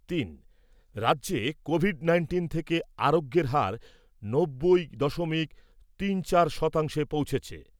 তিন। রাজ্যে COVID nineteen থেকে আরোগ্যের হার নব্বই দশমিক তিন চার শতাংশে পৌঁছেছে।